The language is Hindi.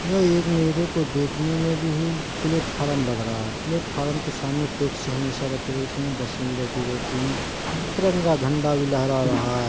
यह एक मेरे को देखने में भी प्लेटफार्म लग रहा है प्लेटफार्म के सामने टैक्सी हमेशा रखी होती है बसें भी रखे रहती है तिरंगा झंडा भी लहरा रहा है।